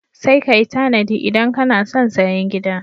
Sai ka yi tanadi idan kano son sayen gida.